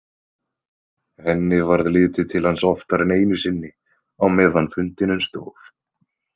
Henni varð litið til hans oftar en einu sinni á meðan fundinum stóð.